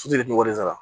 Sutulu sara